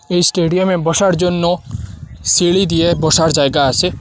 এই স্টেডিয়াম -এ বসার জন্য সিঁড়ি দিয়ে বসার জায়গা আসে।